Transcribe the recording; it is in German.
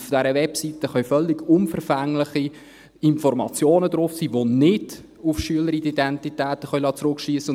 Und auf dieser Webseite können völlig unverfängliche Informationen drauf sein, die nicht auf Schüleridentitäten zurückschliessen lassen.